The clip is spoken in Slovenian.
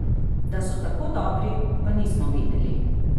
Da so tako dobri, pa nismo vedeli.